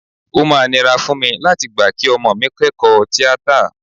O máa nira fún mi láti gbà kí ọmọ mi kẹ́kọ̀ọ́ tíátà